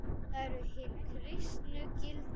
Það eru hin kristnu gildi.